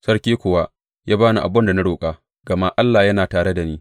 Sarki kuwa ya ba ni abin da na roƙa, gama Allah yana tare da ni.